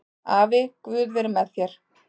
Afi, guð veri með þér